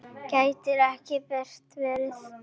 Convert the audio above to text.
Gæti ekki betra verið.